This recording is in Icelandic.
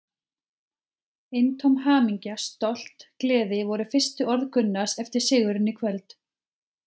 Eintóm hamingja, stolt, gleði voru fyrstu orð Gunnars eftir sigurinn í kvöld.